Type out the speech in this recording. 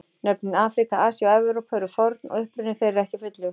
Nöfnin Afríka, Asía og Evrópa eru forn og uppruni þeirra ekki fullljós.